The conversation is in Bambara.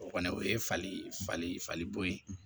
O kɔni o ye fali fali falibo ye